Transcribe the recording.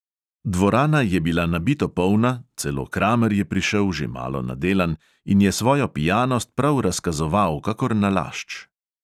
Dvorana je bila nabito polna, celo kramer je prišel, že malo nadelan, in je svojo pijanost prav razkazoval kakor nalašč.